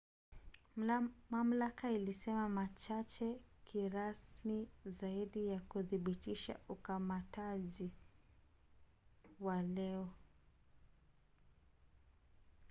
mamlaka ilisema machache kirasmi zaidi ya kuthibitisha ukamataji wa leo